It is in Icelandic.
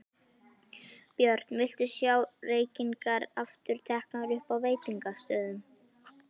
Björn: Viltu sjá reykingar aftur teknar upp á veitingastöðum?